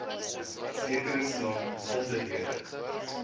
sekere saak besonderhede